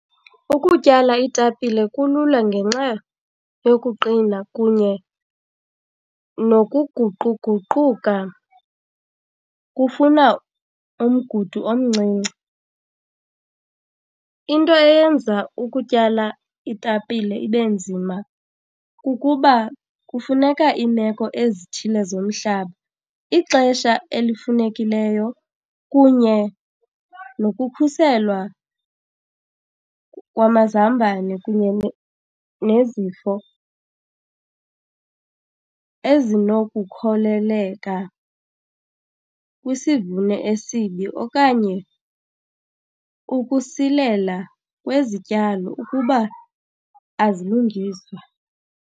Ukutyala iitapile kulula ngenxa yokuqina kunye nokuguquguquka kufuna umgudu omncinci. Into eyenza ukutyala iitapile ibe nzima kukuba kufuneka iimeko ezithile zomhlaba, ixesha elifunekileyo kunye nokukhuselwa kwamazambane kunye nezifo ezinokukholeleka kwisivuno esibi okanye ukusilela kwezityalo ukuba azilungiswa.